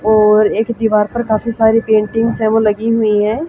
और एक दीवार पर काफी सारी पेंटिंग्स हैं वो लगी हुई हैं।